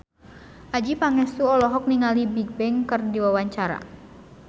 Adjie Pangestu olohok ningali Bigbang keur diwawancara